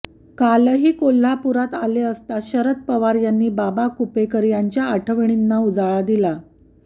कालही कोल्हापुरात आले असता शरद पवार यांनी बाबा कुपेकर यांच्या आठवणींना उजाळा दिला